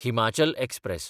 Himachal express